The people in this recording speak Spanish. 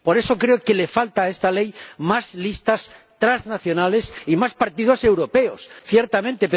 Por eso creo que le faltan a esta ley más listas transnacionales y más partidos europeos, ciertamente.